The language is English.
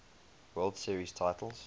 world series titles